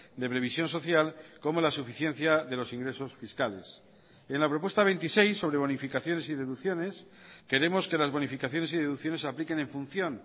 de previsión social como la suficiencia de los ingresos fiscales en la propuesta veintiséis sobre bonificaciones y deducciones queremos que las bonificaciones y deducciones se apliquen en función